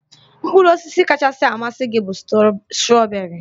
Mkpụrụ osisi kachasị amasị m bụ strọberị